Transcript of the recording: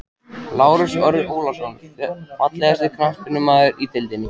Lárus Orri Ólafsson Fallegasti knattspyrnumaðurinn í deildinni?